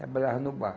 Trabalhava no bar.